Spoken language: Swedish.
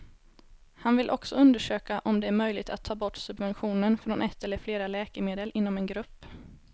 Han vill också undersöka om det är möjligt att ta bort subventionen från ett eller flera läkemedel inom en grupp.